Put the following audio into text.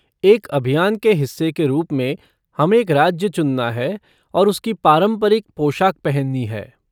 एक अभियान के हिस्से के रूप में, हमें एक राज्य चुनना है और उसकी पारंपरिक पोशाक पहननी है।